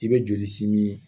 I bɛ joli simi